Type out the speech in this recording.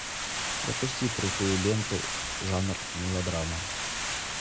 запусти крутую ленту жанр мелодрама